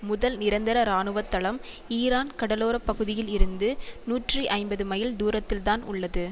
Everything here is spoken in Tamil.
முதல் நிரந்தர இராணுவத்தளம் ஈரான் கடலோர பகுதியில் இருந்து நூற்றி ஐம்பது மைல் தூரத்தில்தான் உள்ளது